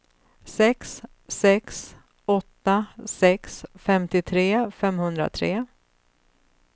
sex sex åtta sex femtiotre femhundratre